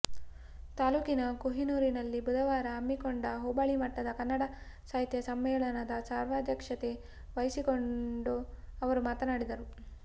ತಾಲ್ಲೂಕಿನ ಕೊಹಿನೂರನಲ್ಲಿ ಬುಧವಾರ ಹಮ್ಮಿಕೊಂಡ ಹೋಬಳಿ ಮಟ್ಟದ ಕನ್ನಡ ಸಾಹಿತ್ಯ ಸಮ್ಮೇಳನದ ಸರ್ವಾಧ್ಯಕ್ಷತೆ ವಹಿಸಿಕೊಂಡು ಅವರು ಮಾತನಾಡಿದರು